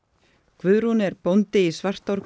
Guðrún er bóndi í Svartárkoti